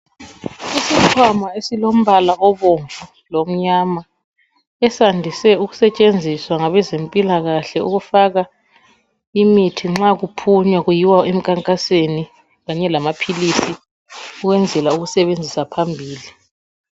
Isikhwama esilombala obomvu lomnyama. Esandise ukusetshenziswa ngabezempilakahle, ukufaka imithi nxa kuphunywa kuyiwa enkankasweni. Kanye lamaphilisi. Ukusetshenziswa phambili.